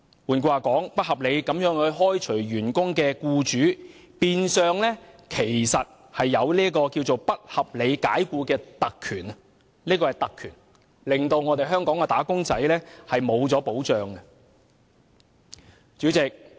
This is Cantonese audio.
換言之，不合理地開除員工的僱主，變相擁有不合理解僱的特權，令"打工仔"失去保障。